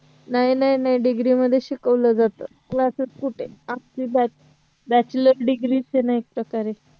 नाही नाही नाही degree मध्ये शिकवलं जात classes कुठे आपलं bachelor degree च आहे ना एक प्रकार आहे